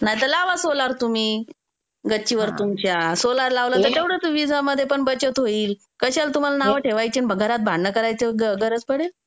नाहीतर लावा सोलार तुम्ही गच्चीवर तुमच्या. सोलार लावला की तेवढेच विजामध्ये बचत होईल. कशाला तुम्हाला नाव ठेवायचे, घरात भांडण करायची गरज पडेल.